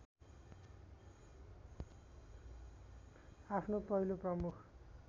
आफ्नो पहिलो प्रमुख